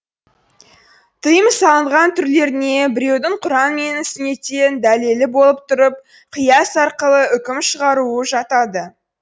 тыйым салынған түрлеріне біреудің құран мен сүннеттен дәлелі болып тұрып қияс арқылы үкім шығаруы жатады